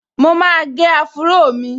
Mo máa gẹ áfúró mi